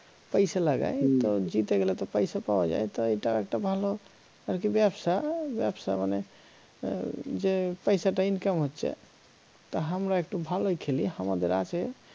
পয়সা লাগায় তো জিতে গেলে তো পয়সা পাওয়া যায় তো এটা একটা ভালো আরকি ব্যবসা আহ ব্যবসা মানে এর যে পয়সাটা income হচ্ছে তা হামরা একটু ভালোই খেলি হামাদের আছে